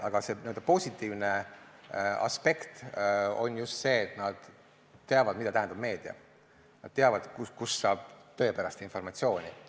Aga positiivne aspekt on just see, et nad teavad, mida tähendab meedia, nad teavad, kust saab tõepärast informatsiooni.